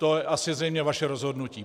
To je asi zřejmě vaše rozhodnutí.